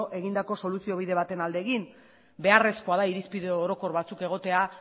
egindako soluziobide baten alde egin beharrezkoa da irizpide orokor batzuk egotea